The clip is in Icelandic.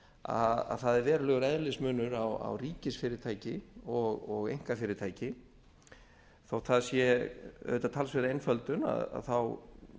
að það er verulegur eðlismunur á ríkisfyrirtæki og einkafyrirtæki þó það sé auðvitað talsverð einföldun þá